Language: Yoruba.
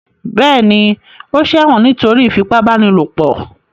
Bẹ́ẹ̀ ni, ó ṣẹ̀wọ̀n nítorí ìfipábánilòpọ̀.